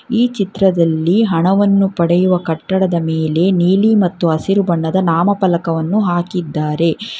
ಈ ಚಿತ್ರದಲ್ಲಿ ಹಣವನ್ನು ಪಡೆಯುವ ಕಟ್ಟಡದ ಮೇಲೆ ನೀಲಿ ಮತ್ತು ಹಸಿರು ಬಣ್ಣದ ನಾಮ ಫಲಕವನು ಹಾಕಿದ್ದಾರೆ.